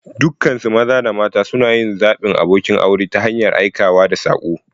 Dukansu maza da mata suna yin zaɓin abokin aure ta hanyar aikawa da saƙo.